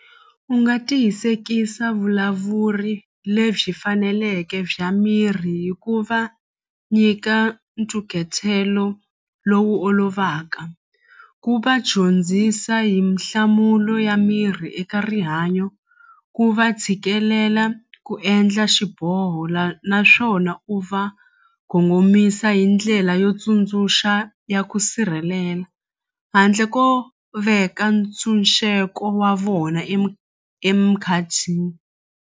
U nga tiyisekisa vulavuri lebyi faneleke bya mirhi hi ku va nyika lowu olovaka ku va dyondzisa hi nhlamulo ya mirhi eka rihanyo ku va tshikelela ku endla xiboho naswona u va gongomisa hi ndlela yo tsundzuxa ya ku sirhelela handle ko veka ntshunxeko wa vona .